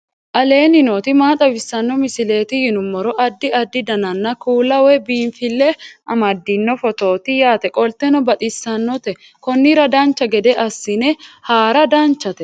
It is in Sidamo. aleenni nooti maa xawisanno misileeti yinummoro addi addi dananna kuula woy biinsille amaddino footooti yaate qoltenno baxissannote konnira dancha gede assine haara danchate